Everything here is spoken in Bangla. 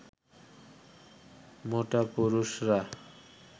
মোটা পুরুষরা